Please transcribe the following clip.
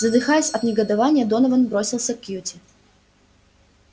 задыхаясь от негодования донован бросился к кьюти